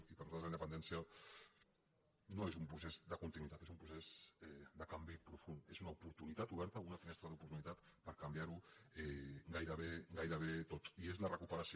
i per a nosaltres la independència no és un procés de continuïtat és un procés de canvi profund és una oportunitat oberta una finestra d’oportunitat per canviarho gairebé tot i és la recuperació